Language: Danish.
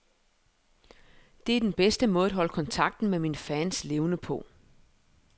Det er den bedste måde at holde kontakten med mine fans levende på.